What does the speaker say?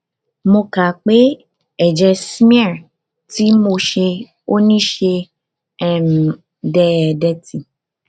mo ka pe eje smear ti mo se oni se um deede tí